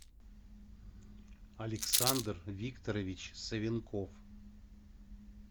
александр викторович савенков